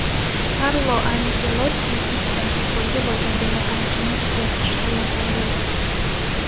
Karlo Anchelotti: Zidan futbolga bo‘lgan dunyoqarashimni o‘zgartirishga yordam bergan.